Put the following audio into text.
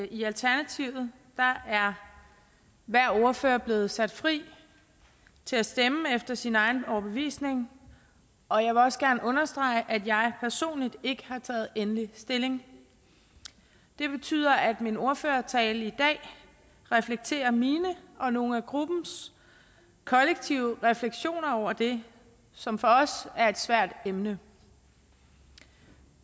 i alternativet er hver ordfører blevet sat fri til at stemme efter sin egen overbevisning og jeg vil også gerne understrege at jeg personligt ikke har taget endelig stilling det betyder at min ordførertale i dag reflekterer mine og nogle af gruppens kollektive refleksioner over det som for os er et svært emne